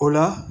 O la